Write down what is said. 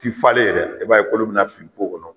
Ti falen yɛrɛ, i b'a ye kolo be na fili kɔnɔ.